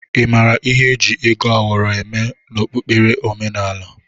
Ị mara ihi eji ego awọrọ eme n'okpukpere omenaala?